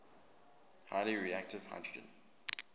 highly reactive hydrogen